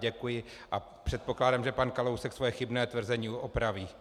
Děkuji a předpokládám, že pan Kalousek své chybné tvrzení opraví.